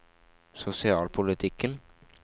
sosialpolitikken